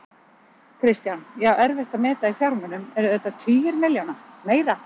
Kristján: Já, erfitt að meta í fjármunum, eru þetta tugir milljóna, meira?